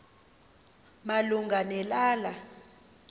malunga ne lala